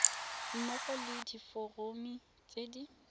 mmogo le diforomo tse di